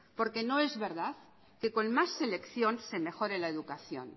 no es verdad que con más selección se mejore la educación